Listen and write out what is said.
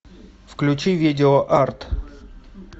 включи видео арт